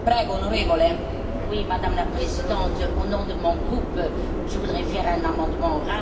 Madame la Présidente, au nom de mon groupe, je voudrais faire un amendement oral sur ce paragraphe.